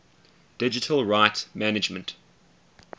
digital rights management